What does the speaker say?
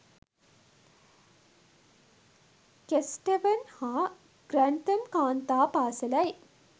Kesteven හා Grantham කාන්තා පාසැලයි